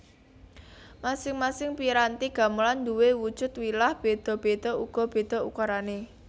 Masing masing piranti gamelan nduwe wujud wilah beda beda uga beda ukurane